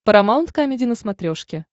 парамаунт камеди на смотрешке